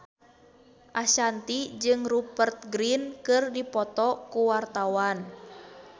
Ashanti jeung Rupert Grin keur dipoto ku wartawan